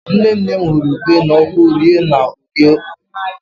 Nne nne m hụrụ ube n'ọkụ ree na Orie Owerri.